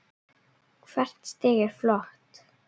Hvert stig er flott.